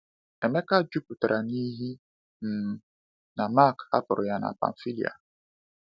Emeka jụpụtara n’ihi um na Mark hapụrụ ha na Pamfília.